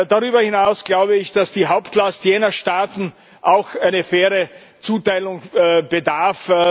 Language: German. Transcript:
Darüber hinaus glaube ich, dass die Hauptlast jener Staaten auch einer fairen Zuteilung bedarf.